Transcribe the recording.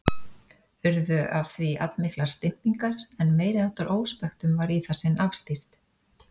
Urðu af því allmiklar stimpingar, en meiriháttar óspektum var í það sinn afstýrt.